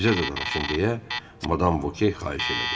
Bizə də danışın deyə Madam Vokey xahiş elədi.